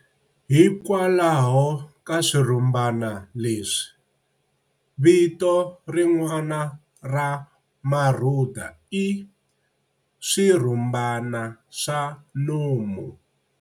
Hikwalaho ka swirhumbana leswi, vito rin'wana ra marhuda i "swirhumbana swa nomu".